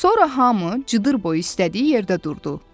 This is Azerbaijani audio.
Sonra hamı cıdır boyu istədiyi yerdə durdu.